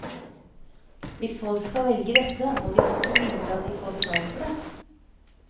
Hvis folk skal velge dette, må de også vite at de får betalt for det.